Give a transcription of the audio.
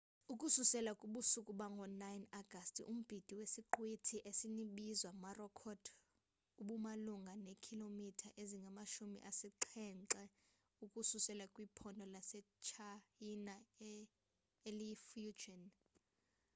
ukususela kubusuku bango-9 agasti umbindi wesaqhwithi esinbizwa morakot ubumalunga neekhilomitha ezingamashumi asixhenxe ukususela kwiphondo lasetshayina eliyifujian